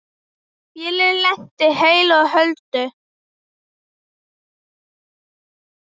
Vélin lenti heilu og höldnu.